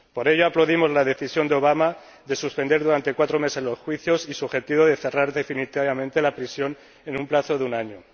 Por ello aplaudimos la decisión de Obama de suspender durante cuatro meses los juicios y su objetivo de cerrar definitivamente la prisión en un plazo de un año.